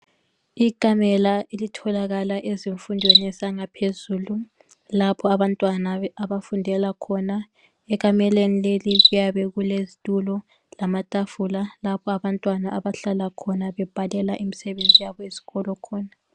Ikamela elitholakala ezifundweni zangaphezulu lapho abantwana abafundela khona, ekameleni leli kuyabekulezitulo lamatafula lapho abantwana abahlala khona bebhalela imsebenzi yabo yesikolo khona.